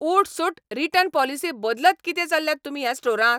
उठसूठ return policy बदलत कितें चल्ल्यात तुमी ह्या स्टोरांत?